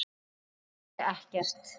Geri ekkert.